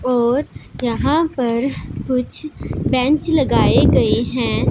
और यहां पर कुछ बेंच लगाए गए हैं।